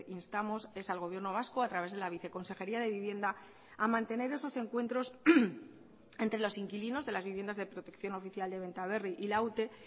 instamos es al gobierno vasco a través de la viceconsejería de vivienda a mantener esos encuentros entre los inquilinos de las viviendas de protección oficial de benta berri y la ute